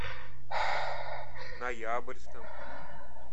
ноябрьском